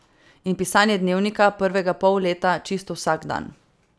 In pisanje dnevnika, prvega pol leta čisto vsak dan.